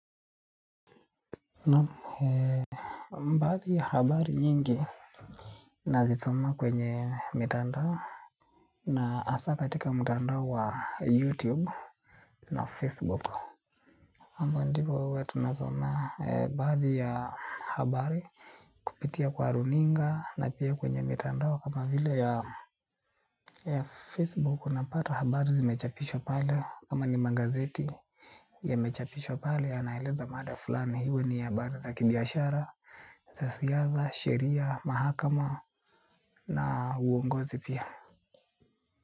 Baadhi ya habari nyingi nazisoma kwenye mitandao. Na hasa katika mtandao wa youtube na facebook ambao ndivyo huwa tunazo na baadhi ya habari kupitia kwa runinga na pia kwenye mitandao kama vile ya Facebook unapata habari zimechapishwa pale kama ni magazeti yamechapishwa pale yanaeleza mada fulani, iwe ni ya baraza ya kibiashara, za siasa, sheria, mahakama na uongozi pia.